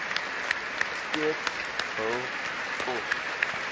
steeds hul pos